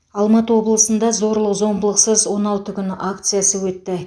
алматы облысында зорлық зомбылықсыз он алты күн акциясы өтті